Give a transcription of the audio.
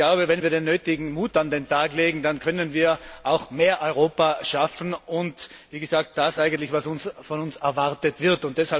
Ich glaube, wenn wir den nötigen Mut an den Tag legen, dann können wir auch mehr Europa schaffen und wie gesagt das eigentlich, was von uns erwartet wird.